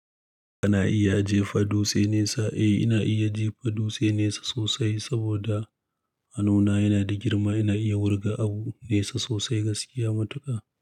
Kana iya jefa dutse nesa? Eh ina iya jefa dutse nesa sosai saboda hannuna yana da girma. Ina iya wurga abu nesa sosai gaskiya matuƙa.